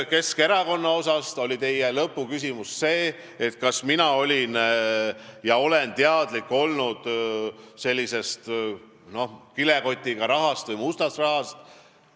Keskerakonna kohta oli teie lõpuküsimus see, kas mina olen olnud teadlik sellest kilekotiga toodavast rahast või mustast rahast.